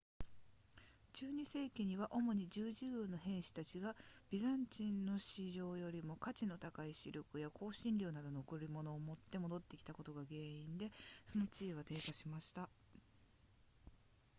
12世紀には主に十字軍の兵士たちがビザンチンの市場よりも価値の高いシルクや香辛料などの贈り物を持って戻ってきたことが原因でその地位は低下しました